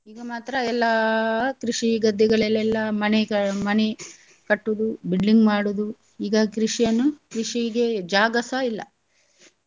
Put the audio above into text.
ಈಗ ಮಾತ್ರ ಎಲ್ಲ ಕೃಷಿ ಗದ್ದೆಗಳಲೆಲ್ಲ ಮನೆಗಳ್~ ಮನೆ ಕಟ್ಟುದು building ಮಾಡುದು ಈಗ ಕೃಷಿಯನ್ನು ಕೃಷಿಗೇ ಜಾಗಸಾ ಇಲ್ಲ.